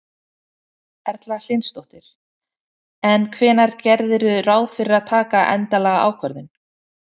Erla Hlynsdóttir: En hvenær gerirðu ráð fyrir að taka endanlega ákvörðun?